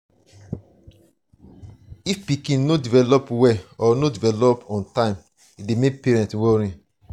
if pikin no develop well or no develop on time e dey make parent worry